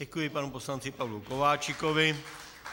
Děkuji panu poslanci Pavlu Kováčikovi.